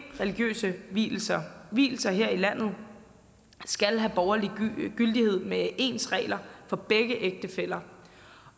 religiøse vielser vielser her i landet skal have borgerlig gyldighed med ens regler for begge ægtefæller